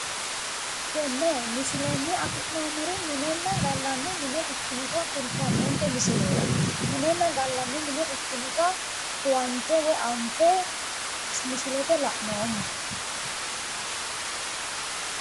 Tenne misilenni afi'noommori minenna gallanni mine ikkinota kultannonke misileeti, minenna gallanni mine ikkinota huwante woyi anfe misilete la'noommo.